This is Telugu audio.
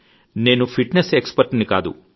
నేను ఫిట్ నెస్ ఎక్స్ పర్ట్ ని కాదు